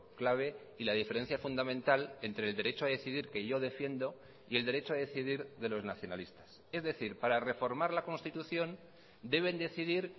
clave y la diferencia fundamental entre el derecho a decidir que yo defiendo y el derecho a decidir de los nacionalistas es decir para reformar la constitución deben decidir